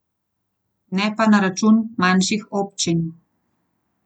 Ne pa na račun manjših občin.